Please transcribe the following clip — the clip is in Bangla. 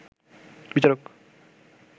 বিচারক